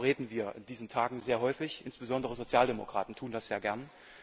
Darüber reden wir in diesen Tagen sehr häufig insbesondere Sozialdemokraten tun das gerne.